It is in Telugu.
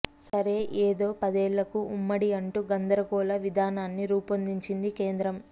సరే ఏదో పదేళ్లకు ఉమ్మడి అంటూ గందరగోళ విధానాన్ని రూపొందించింది కేంద్రం